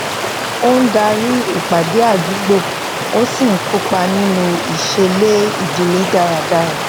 ó ń darí ìpàdé àdúgbò ó sì ń kópa nínú iseele ìdílé daradara